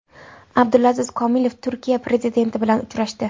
Abdulaziz Komilov Turkiya prezidenti bilan uchrashdi.